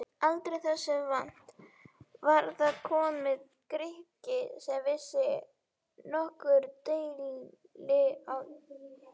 Aldrei þessu vant var þar kominn Grikki sem vissi nokkur deili á Íslandi!